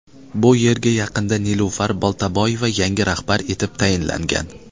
Bu yerga yaqinda Nilufar Boltaboyeva yangi rahbar etib tayinlangan.